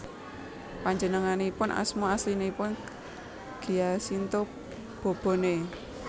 Panjenenganipun asma aslinipun Giacinto Bobone